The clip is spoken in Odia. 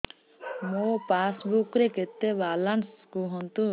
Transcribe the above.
ମୋ ପାସବୁକ୍ ରେ କେତେ ବାଲାନ୍ସ କୁହନ୍ତୁ